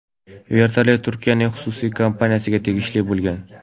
Vertolyot Turkiyaning xususiy kompaniyasiga tegishli bo‘lgan.